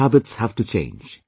The food habits have to change